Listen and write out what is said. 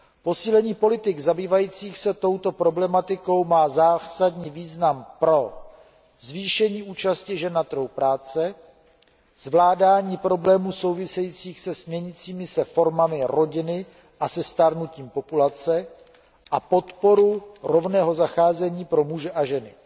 Posílení politik zabývajících se touto problematikou má zásadní význam pro zvýšení účasti žen na trhu práce, zvládání problémů souvisejících s měnícími se formami rodiny a se stárnutím populace a podporu rovného zacházení pro muže a ženy.